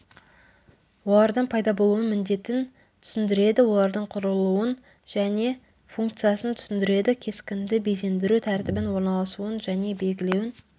олардың пайда болуын міндетін түсіндіреді олардың құрылуын және функциясын түсіндіреді кескінді безендіру тәртібін орналасуын және белгілеуін